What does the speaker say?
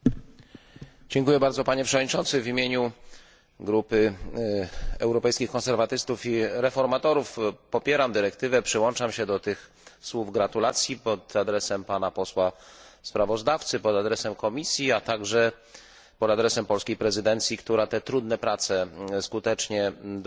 Panie Przewodniczący! W imieniu Grupy Europejskich Konserwatystów i Reformatorów popieram dyrektywę. Przyłączam się do tych słów gratulacji pod adresem pana posła sprawozdawcy, pod adresem Komisji, a także pod adresem polskiej prezydencji, która te trudne prace skutecznie doprowadziła do końca.